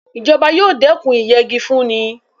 Ìjọba yóò dẹ́kun ìyẹgi fúnni.